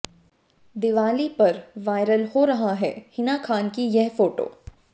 दिवाली पर वायरल हो रहा है हिना खान की यह फोटो